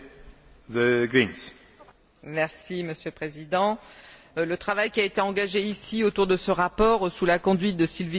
Monsieur le Président, le travail qui a été engagé ici autour de ce rapport, sous la conduite de Sylvie Guillaume, est très important.